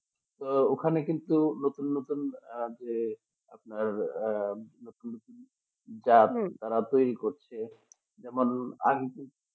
তো ওখানে কিন্তু নতুন নতুন আহ যে আপনার নতুন নতুন জাত তারা তৈরি করছে যেমন আগে কিন্তু